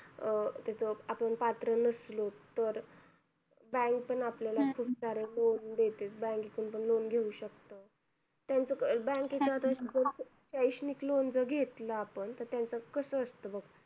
अं त्याचं आपण पात्र नसलो तर, bank पण आपल्याला खूप सारे loan देते, bank तून पण loan घेऊ शकतो. त्यांचं आता bank चं आता शैक्षणिक loan जर घेतलं, आपण तर त्यांचं कसं असतं बघ